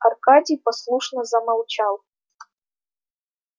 аркадий послушно замолчал